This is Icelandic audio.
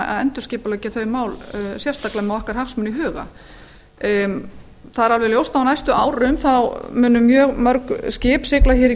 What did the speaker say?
endurskipuleggja þau mál sérstaklega með hagsmuni okkar í huga ljóst er að á næstu árum munu mörg skip sigla í